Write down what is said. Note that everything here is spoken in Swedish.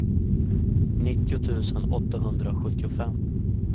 nittio tusen åttahundrasjuttiofem